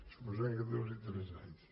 suposant que duri tres anys